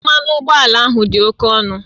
Mmanụ ụgbọala ahụ dị oke ọnụ